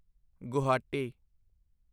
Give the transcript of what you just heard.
Guwahati